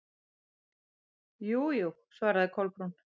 Jú, jú- svaraði Kolbrún.